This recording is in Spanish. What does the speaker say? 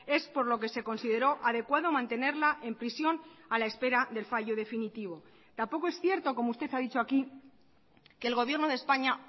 es por lo que se consideró adecuado mantenerla en prisión a la espera del fallo definitivo tampoco es cierto como usted ha dicho aquí que el gobierno de españa